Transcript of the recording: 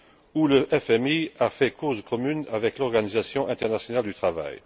où le FMI a fait cause commune avec l'Organisation internationale du travail.